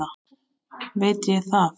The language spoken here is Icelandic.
veit ég það?